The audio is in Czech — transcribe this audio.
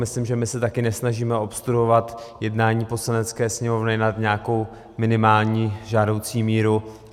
Myslím, že my se taky nesnažíme obstruovat jednání Poslanecké sněmovny nad nějakou minimální žádoucí míru.